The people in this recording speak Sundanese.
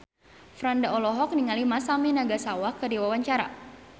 Franda olohok ningali Masami Nagasawa keur diwawancara